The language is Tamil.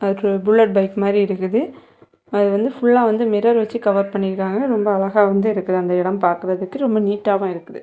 இது புல்லட் பைக் மாரி இருக்குது அது வந்து புல்லா வந்து மிரர் வச்சு கவர் பண்ணி இருக்காங்க ரொம்ப அழகா வந்து இருக்கு அந்த இடம் பாக்குறதுக்கு ரொம்ப நீட்டாவு இருக்கு.